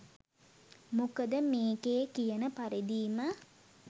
මොකද මේකේ කියන පරිදිම